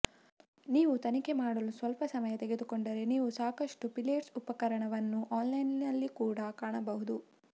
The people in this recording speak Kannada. ನೀವು ತನಿಖೆ ಮಾಡಲು ಸ್ವಲ್ಪ ಸಮಯ ತೆಗೆದುಕೊಂಡರೆ ನೀವು ಸಾಕಷ್ಟು ಪಿಲೇಟ್ಸ್ ಉಪಕರಣವನ್ನು ಆನ್ಲೈನ್ನಲ್ಲಿ ಕೂಡಾ ಕಾಣಬಹುದು